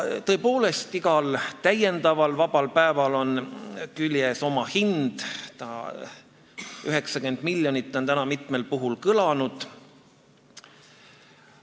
Tõepoolest, igal täiendaval vabal päeval on küljes oma hind, täna on mitmel puhul kõlanud 90 miljonit.